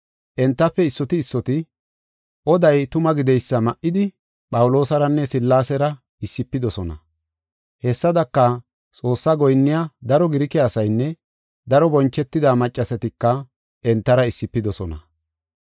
Entafe issoti issoti oday tuma gideysa ma7idi Phawuloosaranne Sillaasera issifidosona. Hessadaka, Xoossaa goyinniya daro Girike asaynne daro bonchetida maccasatika entara issifidosona.